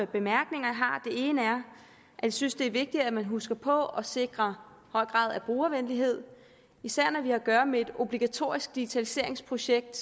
bemærkninger den ene er at jeg synes det er vigtigt at man husker på at sikre høj grad af brugervenlighed især når vi har at gøre med et obligatorisk digitaliseringsprojekt